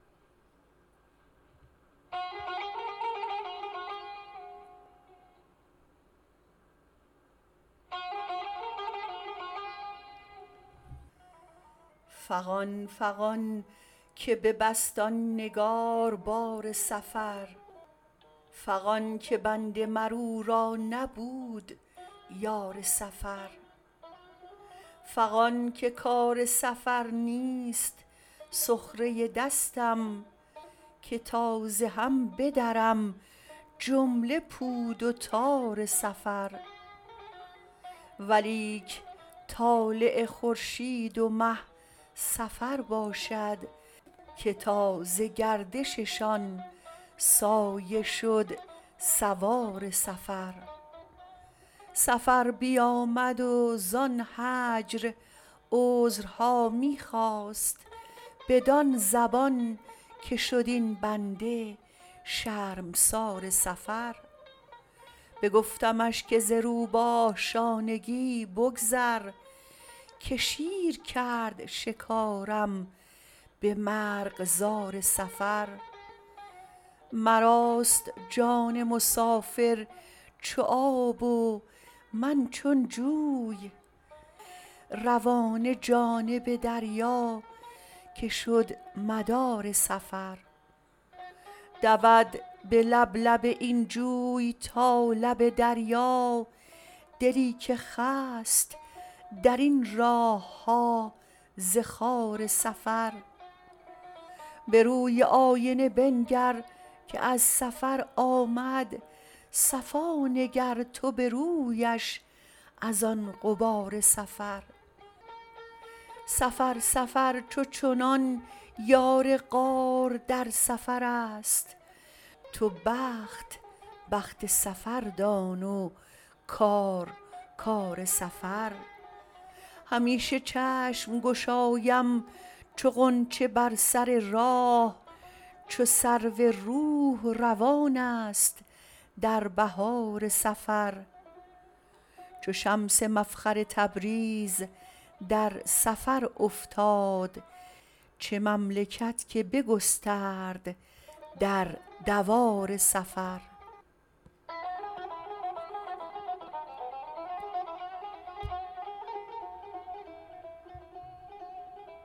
فغان فغان که ببست آن نگار بار سفر فغان که بنده مر او را نبود یار سفر فغان که کار سفر نیست سخره دستم که تا ز هم بدرم جمله پود و تار سفر ولیک طالع خورشید و مه سفر باشد که تاز گردششان سایه شد سوار سفر سفر بیامد وزان هجر عذرها می خواست بدان زبان که شد این بنده شرمسار سفر بگفتمش که ز روباه شانگی بگذر که شیر کرد شکارم به مرغزار سفر مراست جان مسافر چو آب و من چون جوی روانه جانب دریا که شد مدار سفر دود به لب لب این جوی تا لب دریا دلی که خست در این راه ها ز خار سفر به روی آینه بنگر که از سفر آمد صفا نگر تو به رویش از آن غبار سفر سفر سفر چو چنان یار غار در سفرست تو بخت بخت سفر دان و کار کار سفر همیشه چشم گشایم چو غنچه بر سر راه چو سرو روح روانست در بهار سفر چو شمس مفخر تبریز در سفر افتاد چه مملکت که بگسترد در دوار سفر